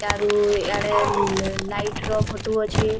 ଚାରୁ ଇଆଡେ ଲାଇଟ୍‌ ର ଫଟୋ ଅଛେ ସେଆଡେ ଲାଇଟ୍‌--